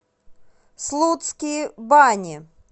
слудские бани